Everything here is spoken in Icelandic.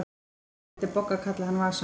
En þá vildi Bogga kalla hann Vasa.